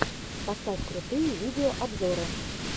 поставь крутые видеообзоры